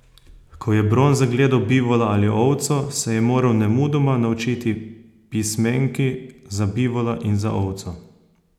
Ko je Bron zagledal bivola ali ovco, se je moral nemudoma naučiti pismenki za bivola in za ovco.